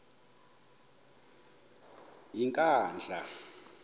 yenkandla